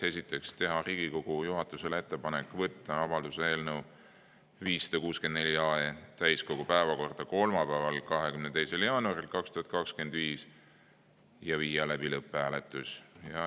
Esiteks, teha Riigikogu juhatusele ettepanek võtta avalduse eelnõu 564 täiskogu päevakorda kolmapäeval, 22. jaanuaril 2025 ja viia läbi lõpphääletus.